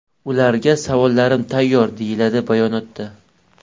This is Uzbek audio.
Ularga savollarim tayyor”, deyiladi bayonotda.